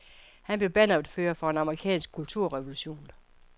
Han blev bannerfører for en amerikansk kulturrevolution.